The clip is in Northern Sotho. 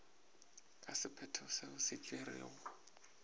ka sephetho se se tšerwego